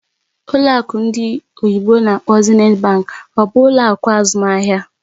Ụlọ akụ ndị oyibo n'akpọ "Zenith Bank" ọ bụ ụlọ akụ azụmaahịa?